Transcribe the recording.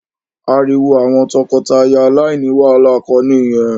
Ariwo àwọn tọkọtaya aláìní wàhálà kọ ni ìyẹn